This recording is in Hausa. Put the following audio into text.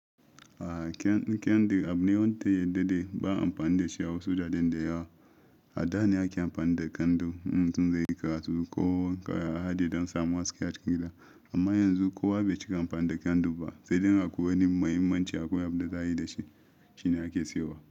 A kyan, kyandir abune wanda ya daɗe ba'a amfani dashi a wasu wararen da yawa. A dane ake amfani da kyandir in mutum zai yi karatu ko yahadi dan samun haske cikin gida. Amma yanzu ko wa bai chika amfani kyandir ba, sai dai in akwai wani mahimman chi akwai abun da zayi da shi, shi na ake siyawa.